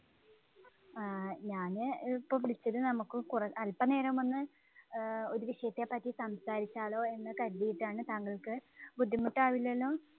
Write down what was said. ആഹ് ഞാന് ഇപ്പോള്‍ വിളിച്ചത് നമുക്ക് കൊറ~ അല്‍പനേരം ഒന്ന് ആഹ് ഒരു വിഷയത്തെ പറ്റി സംസാരിച്ചാലോ എന്ന് കരുതിയിട്ടാണ്. താങ്കള്‍ക്ക് ബുദ്ധിമുട്ടാവില്ലല്ലോ?